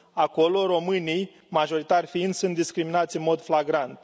Acolo, românii, majoritari fiind, sunt discriminați în mod flagrant.